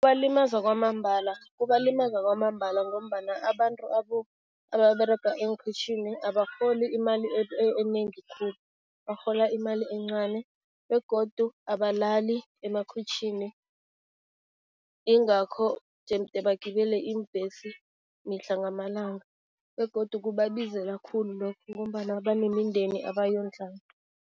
Kubalimaza kwamambala, kubalimaza kwamambala ngombana abantu ababerega eenkhwitjhini abarholi imali enengi khulu, barhola imali encani begodu abalali emakhwitjhini, yingakho jemde bagibele iimbhesi mihla ngamalanga begodu kubabizela khulu lokhu ngombana banemindeni abayondlako.